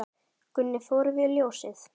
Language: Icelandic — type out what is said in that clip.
Gunni fór fyrir ljósið.